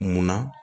Munna